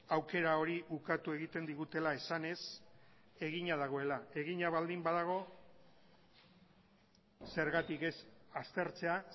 aukera hori ukatu egiten digutela esanez egina dagoela egina baldin badago zergatik ez aztertzea